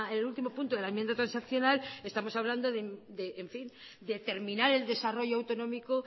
el último punto de la enmienda transaccional estamos hablando de terminar el desarrollo autonómico